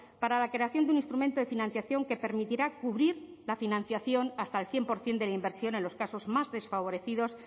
para la creación de un instrumento de financiación que permitirá cubrir la financiación hasta el cien por ciento de la inversión en los casos más desfavorecidos